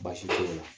Baasi te yen nɔ